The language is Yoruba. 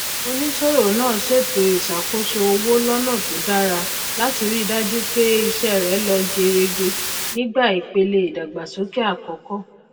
onísòwò náà ṣètò ìṣàkóso owó lọnà tó dára láti ri dájú pé iṣẹ rẹ lọ gerege nígbà ìpele ìdàgbàsókè àkọkọ